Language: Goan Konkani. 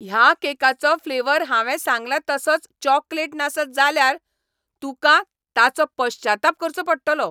ह्या केकाचो फ्लेवर हांवें सांगला तसोच चॉकलेट नासत जाल्यार तुकां ताचो पश्चाताप करचो पडटलो.